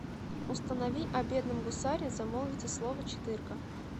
установи о бедном гусаре замолвите слово четыре ка